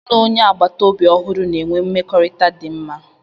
M na onye agbata obi ọhụrụ na-enwe mmekọrịta dị mma